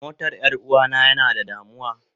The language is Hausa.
Motar Yaruwa na yana da damuwa.